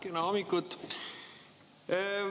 Kena hommikut!